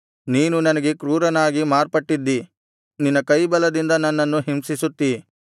ನೀನು ನನಗೆ ಕ್ರೂರನಾಗಿ ಮಾರ್ಪಟ್ಟಿದ್ದಿ ನಿನ್ನ ಕೈಬಲದಿಂದ ನನ್ನನ್ನು ಹಿಂಸಿಸುತ್ತಿ